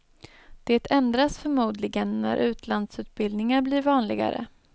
Det ändras förmodligen när utlandsutbildningar blir vanligare.